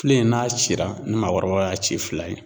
Filen n'a cira , ni maakɔrɔbaw ci fila ye.